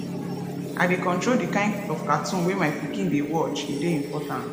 i dey control di kain of cartoon wey my pikin dey watch e dey important